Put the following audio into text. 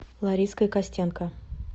лариской костенко